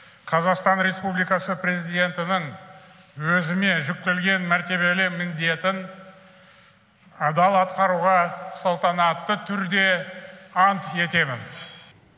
қазақстан республикасы президентінің өзіме жүктелген мәртебелі міндетін адал атқаруға салтанатты түрде ант етемін